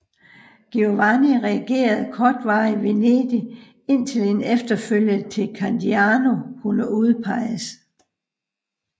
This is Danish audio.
Giovanni regerede kortvarigt Venedig indtil en efterfølger til Candiano kunne udpeges